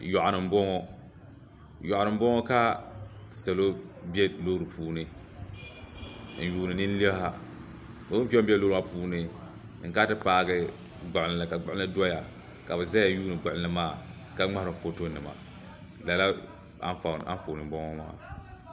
Yoɣu ni n boŋɔ ka salo bɛ loori puuni n yuuni linliha o ni kpɛ n bɛ loori maa puuni n kana ti paagi gbuɣunli ka gbuɣunli doya ka bi ʒɛya lihiri gbuɣinli maa ka ŋmaharo foto nima lala anfooni n boŋɔ maa